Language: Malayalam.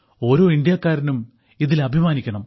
ഓരോ ഇന്ത്യക്കാരനും ഇതിൽ അഭിമാനിക്കണം